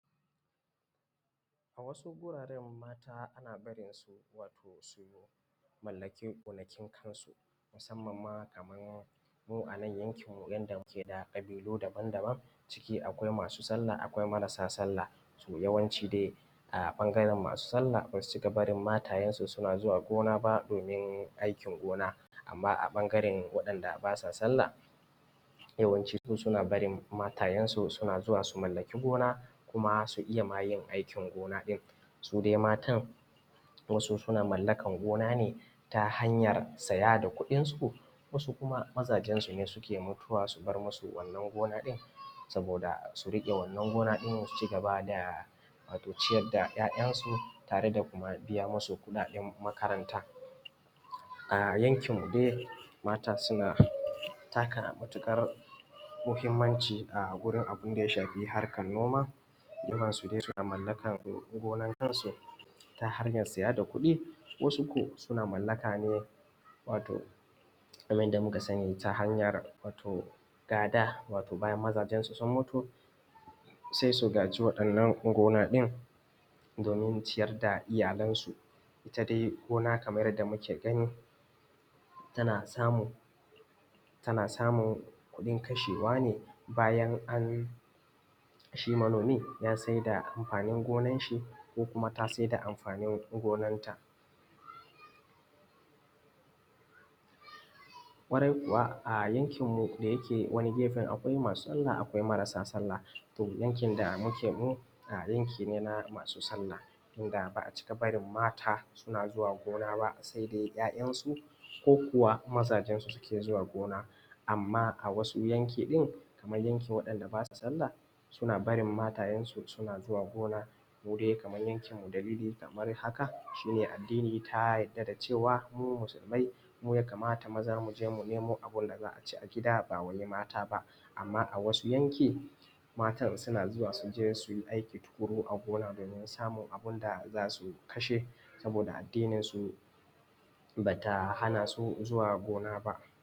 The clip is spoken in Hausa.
A wasu wuraren mata ana barinsu wato su mallaki gona kin kansu, musamman ma kamar mu a nan yankinmu yanda muke da ƙabilu daban-daban ciki akwai masu sallah akwai marasa sallah. so Yawanci dai a ɓangaren masu sallah ba su cika barin matayensu suna zuwa gona ba domin aikin gona. Amma a ɓangaren wadan da basa sallah yawanci su suna barin matayensu suna zuwa su mallaki gona kuma su iya ma yin aikin gona ɗin. su dai matan Wasu sun mallakar gona ne ta hanyar saya da kuɗinsu wasu kuma mazajensu ne suke mutuwa su bar musu wannan gona din. Saboda su riƙe wannan gona ɗin su ciki da wato ciyar da yayansu tare da kuma biya masu kuɗa ɗen makaranta. A yankinmu dai mata suna taka matuƙar muhammanci a gurin abun da ya shafi harkar noma, irnsu dai suna mallakar gonar kansu ta hanyar saya da kuɗi, wasu ko suna mallaka ne wato kamar yadda muka sani ta hanyar gada wato bayan mazajensu sun mutu sai su gada waɗannan gona ɗin domin ciyar da iyalansu .ita dai gona kamar yadda muke gani ta na samun tana samun kuɗin kashewa ne bayan an shi manomi ya sayar da amfanin gonan shi kokuma ta sayar da amfanin gonarta. Ƙwarai kuwa a ayankinmu dayake wani gefen akwai masu sallah akwai marasa sallah, to yankin da muke mu yanki ne na masu sallah idan ba a cika bari mata ba suna zuwa gona ba sai dai 'yayansu ko mazajensu suke zuwa gona. Amma wasu yanki ɗin kamar yakin waɗanda ba su Sallah suna barin matayensu suna zuwa gona. Mu dai kamar yankinmu dalilin kamar haka, shi ne addini ta yadda da cewa mu musulmai muyakamata maza mu je mu nemo abinda za a ci a gida ba wai mata ba. Amma a wasu yanki matan suna zuwa su je su yi aiki tukuru a gona domin samun abun da da su kashe saboda addininsu ba ta hana su zuwa gona ba